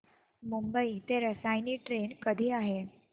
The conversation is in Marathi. मुंबई ते रसायनी ट्रेन कधी आहे